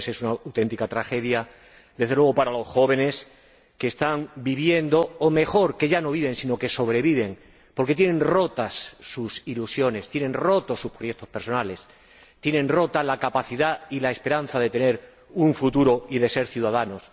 A veces es una auténtica tragedia, desde luego para los jóvenes que ya no viven, sino que sobreviven, porque tienen rotas sus ilusiones, tienen rotos sus proyectos personales, tienen rota la capacidad y la esperanza de tener un futuro y de ser ciudadanos.